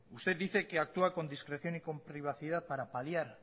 usted dice que actúa con discreción y con privacidad para paliar